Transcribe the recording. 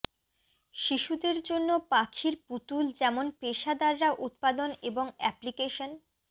শিশুদের জন্য পাখির পুতুল যেমন পেশাদাররা উত্পাদন এবং অ্যাপ্লিকেশন